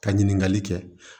Ka ɲiniŋali kɛ